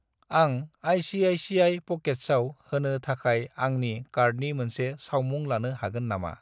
आं आइ.सि.आइ.सि.आइ. प'केट्सआव होनो थाखाय आंनि कार्डनि मोनसे सावमुं लानो हागोन नामा?